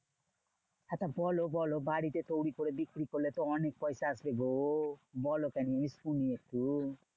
আচ্ছা বলো বলো বাড়িতে তৈরী করে বিক্রি করলে তো অনেক পয়সা আসবে গো। বলো তুমি শুনি একটু।